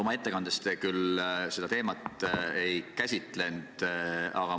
Oma ettekandes te seda teemat ei käsitlenud.